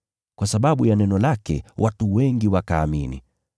Kwa sababu ya neno lake, watu wengi wakaamini.